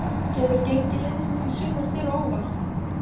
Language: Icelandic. Kemur gengi liðsins í sumar þér á óvart?